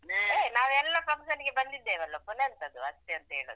ಏ ನಾವು ಎಲ್ಲ function ಗೆ ಬಂದಿದ್ದೇವಲ್ಲ ಪುನ ಎಂತ ಅದು ಅಷ್ಟೆ ಅಂತ ಹೇಳುದು.